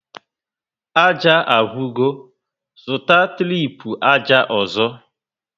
Ájá agwụgo, zụta tripu ájá ọzọ